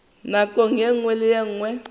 nakong ye nngwe le ye